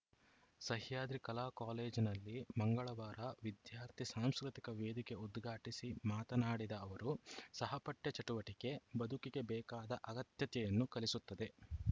ಸಹ್ಯಾದ್ರಿ ಕಲಾ ಕಾಲೇಜಿನಲ್ಲಿ ಮಂಗಳವಾರ ವಿದ್ಯಾರ್ಥಿ ಸಾಂಸ್ಕೃತಿಕ ವೇದಿಕೆ ಉದ್ಘಾಟಿಸಿ ಮಾತನಾಡಿದ ಅವರು ಸಹಪಠ್ಯ ಚಟುವಟಿಕೆ ಬದುಕಿಗೆ ಬೇಕಾದ ಅಗತ್ಯತೆಯನ್ನು ಕಲಿಸುತ್ತದೆ